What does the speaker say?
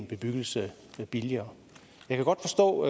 bebyggelse billigere jeg kan godt forstå